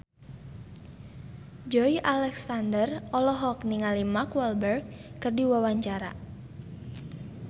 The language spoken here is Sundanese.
Joey Alexander olohok ningali Mark Walberg keur diwawancara